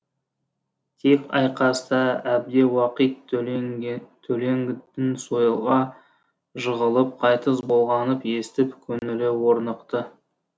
тек айқаста әбдіуақит төлеңгіттің сойылға жығылып қайтыс болғанын естіп көңілі орнықты